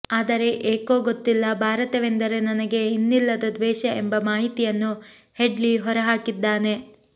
ಆದರೆ ಏಕೋ ಗೊತ್ತಿಲ್ಲ ಭಾರತವೆಂದರೆ ನನಗೆ ಇನ್ನಿಲ್ಲದ ದ್ವೇಷ ಎಂಬ ಮಾಹಿತಿಯನ್ನು ಹೆಡ್ಲಿ ಹೊರಹಾಕಿದ್ದಾನೆ